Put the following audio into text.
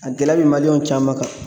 A gɛlɛya bɛ maliyɛnw caman kan.